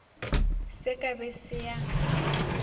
se ka be se a